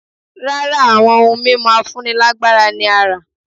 Rárá, àwọn ohun mímu afúnílágbára ni a rá